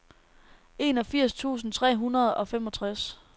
enogfirs tusind tre hundrede og femogtres